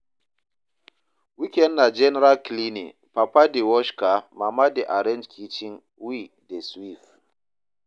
Weekend na general cleaning, Papa dey wash car, Mama dey arrange kitchen, we dey sweep.